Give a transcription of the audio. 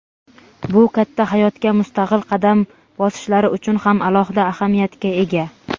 Bu katta hayotga mustaqil qadam bosishlari uchun ham alohida ahamiyatga ega.